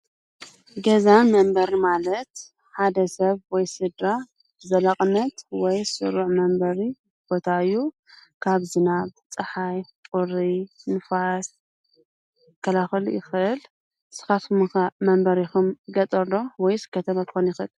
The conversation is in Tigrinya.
ገዛ መንበሪ ማለት ሓደ ሰብ ወይ ስድራ ብዘላቅነት ወይ ስሩዕ መንበሪ ቦታ እዩ። ካብ ዝናብ ፣ፀሓይ፣ ቈሪ ፣ንፋስ ክከላኸል ይክእል። ንስኻቱኩም ከ መንበሪኩም ገጠር ዶ ወይስ ከተማ እንትኮን ዝበለፀ?